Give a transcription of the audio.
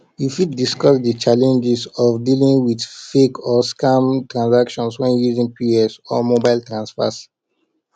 you fit discuss di challenges of dealing with fake or scam transactions when using pos or mobile transfers